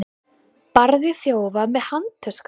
Barði þjófa með handtösku